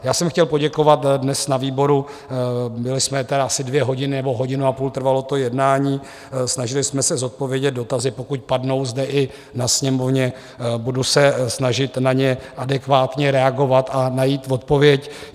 Já jsem chtěl poděkovat dnes na výboru, byli jsme tedy asi dvě hodiny nebo hodinu a půl trvalo to jednání, snažili jsme se zodpovědět dotazy, pokud padnou zde i na Sněmovně, budu se snažit na ně adekvátně reagovat a najít odpověď.